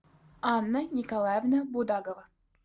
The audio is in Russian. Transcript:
анна николаевна будагова